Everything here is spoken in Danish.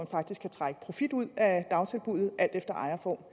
faktisk kan trække profit ud af dagtilbuddet alt efter ejerform